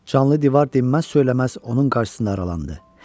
Canlı divar dinməz söyləməz onun qarşısında aralandı.